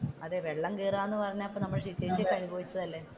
അതെ വെള്ളം കയറുക എന്ന് പറഞ്ഞാൽ നമ്മൾ അനുഭവിച്ചതല്ലേ.